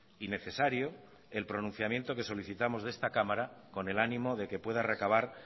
y necesario el pronunciamiento que solicitamos de esta cámara con el ánimo de que pueda recabar